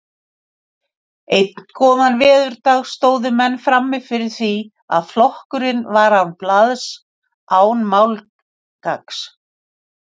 Einn góðan veðurdag stóðu menn frammi fyrir því að flokkurinn var án blaðs, án málgagns.